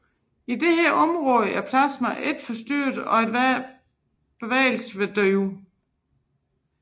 I dette område er plasmaet ikke forstyrret og enhver bevægelse vil dø ud